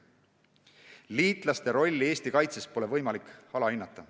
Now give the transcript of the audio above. Liitlaste rolli Eesti kaitses ei tohi mingil juhul alahinnata.